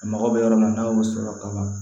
A mago bɛ yɔrɔ min na n'a y'o sɔrɔ kaban